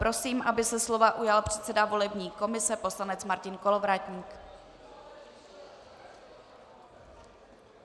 Prosím, aby se slova ujal předseda volební komise poslanec Martin Kolovratník.